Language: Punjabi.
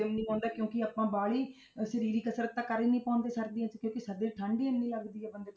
ਹਜਮ ਨੀ ਆਉਂਦਾ ਕਿਉਂਕਿ ਆਪਾਂ ਵਾਹਲੀ ਅਹ ਸਰੀਰਕ ਕਸ਼ਰਤ ਤਾਂ ਕਰ ਹੀ ਨੀ ਪਾਉਂਦੇ ਸਰਦੀਆਂ 'ਚ ਕਿਉਂਕਿ ਸਰਦੀਆਂ 'ਚ ਠੰਢ ਹੀ ਇੰਨੀ ਲੱਗਦੀ ਹੈ ਬੰਦੇ ਤੋਂ